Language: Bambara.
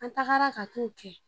An tagara ka t'o kɛ